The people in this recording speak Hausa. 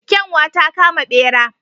Kyanwa ta kama bera.